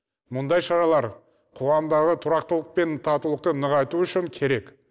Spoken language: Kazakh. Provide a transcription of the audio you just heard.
мұндай шаралар қоғамдағы тұрақтылық пен татулықты нығайту үшін керек